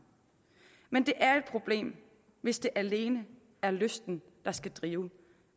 men det er jo et problem hvis det alene er lysten der skal drive